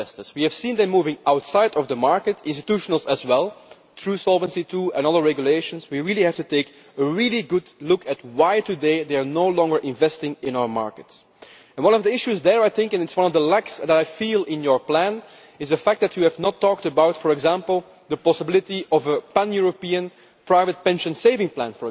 We have seen them moving outside of the market institutions as well due to Solvency II and other regulations. We have to take a really good look at why, today, they are no longer investing in our markets. One of the issues there and it is one of the things that is lacking in your plan is the fact that you have not talked about, for example, the possibility of a pan European private pension savings plan.